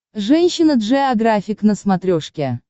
женщина джеографик на смотрешке